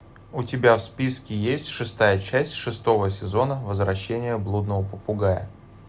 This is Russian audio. у тебя в списке есть шестая часть шестого сезона возвращение блудного попугая